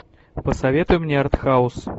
посоветуй мне артхаус